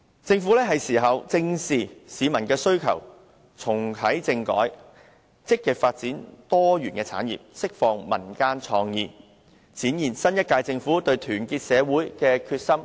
政府是時候正視市民的需求，重啟政改，積極發展多元產業，釋放民間創意，展現新一屆政府對團結社會的決心和誠意。